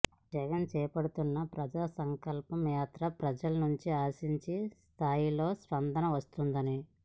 జగన్ చేపడుతున్న ప్రజా సంకల్ప యాత్రకు ప్రజల నుంచి ఆశించిన స్థాయిలో స్పందన వస్తోందని